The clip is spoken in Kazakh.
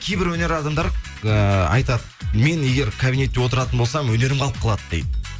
кейбір өнер адамдары ыыы айтады мен егер кабинетте отыратын болсам өнерім қалып қалады дейді